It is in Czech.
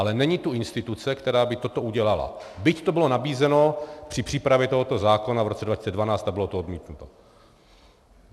Ale není tu instituce, která by toto udělala, byť to bylo nabízeno při přípravě tohoto zákona v roce 2012 a bylo to odmítnuto.